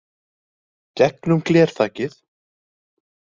Gegnum glerþakið.